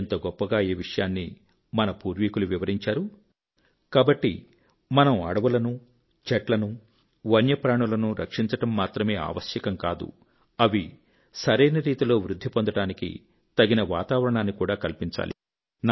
ఎంత గొప్పగా ఈ విషయాన్ని మన పూర్వీకులు వివరించారు కాబట్టి మనం అడవులను చెట్లను వన్యప్రాణులను రక్షించడం మాత్రమే ఆవశ్యకం కాదు అవి సరైన రీతిలో వృద్ధి పొందడానికి తగిన వాతావరణాన్ని కూడా కల్పించాలి